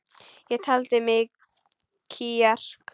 Ég taldi í mig kjark.